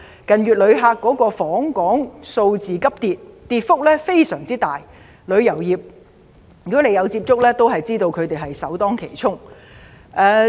近月訪港旅客數字急跌，跌幅非常大，如果你有接觸過旅遊業界人士的話，便會知道他們首當其衝。